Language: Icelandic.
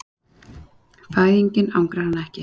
Fæðingin angrar hana ekki.